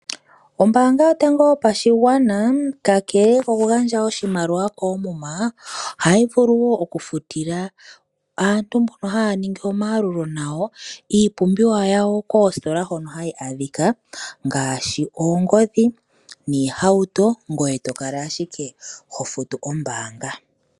Ombaanga yotango yopashigwana, kakele kokugandja oshimaliwa koomuma, ohayivulu wo okufutila aantu mbono haya ningi omayalulo nayo iipumbiwa yawo koositola hono hayi adhika ngaashi oongodhi, noohauto ngoye tokala ashike hofutuko kombaanga.